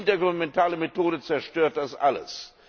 Die intergouvernementale Methode zerstört das alles.